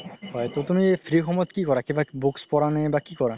হয় তুমি free সময়ত কি কৰা কিবা books পঢ়া নে কি কৰা?